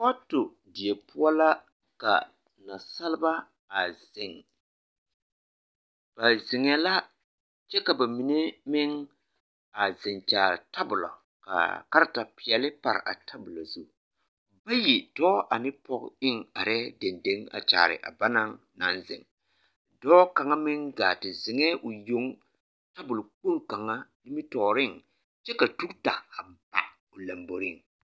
Foto die poɔ la ka nasalba a zeŋ ba zeŋɛɛ la kyɛ ka bamine meŋ a zeŋ kyaare tabolo ka kareta peɛle pa a tabolo zu bayi, dɔɔ ane pɔge eŋ arɛɛ dendeŋ a kyaare a banaŋ naŋ zeŋ, dɔɔ kaŋa meŋ gaa te zeŋɛɛ o yoŋ tabol kpoŋ kaŋa nimitɔɔreŋ kyɛ ka tugita a ba o lomboriŋ.